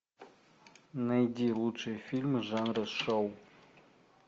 найди лучшие фильмы жанра шоу